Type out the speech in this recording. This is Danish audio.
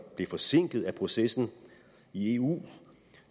blev forsinket af processen i eu